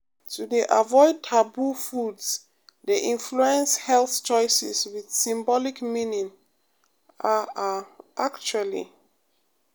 to dey avoid taboo foods dey influence health choices with symbolic meaning ah ah actually